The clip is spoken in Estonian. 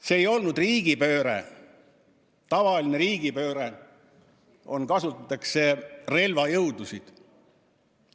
See ei olnud riigipööre, tavaline riigipööre, kus kasutatakse relvajõudusid.